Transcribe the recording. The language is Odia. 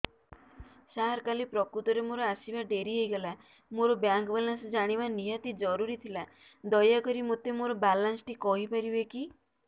ସାର କାଲି ପ୍ରକୃତରେ ମୋର ଆସିବା ଡେରି ହେଇଗଲା ମୋର ବ୍ୟାଙ୍କ ବାଲାନ୍ସ ଜାଣିବା ନିହାତି ଜରୁରୀ ଥିଲା ଦୟାକରି ମୋତେ ମୋର ବାଲାନ୍ସ ଟି କହିପାରିବେକି